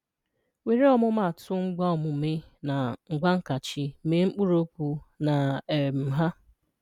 – Were ọmụmaatụ ngwaaomume na ngwaankachi, mee mkpụrụokwu na um ha.